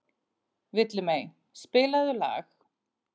Villimey, spilaðu lag.